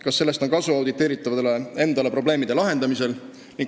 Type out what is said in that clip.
Kas sellest on kasu auditeeritavale endale probleemide lahendamisel?